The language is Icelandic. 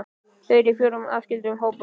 Þau eru í fjórum aðskildum hópum.